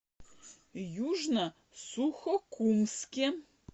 южно сухокумске